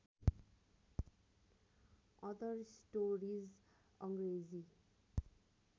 other stories Angrezi